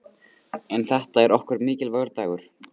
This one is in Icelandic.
En þetta er okkur mikilvægur dagur.